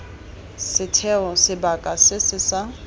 setheo sebaka se se sa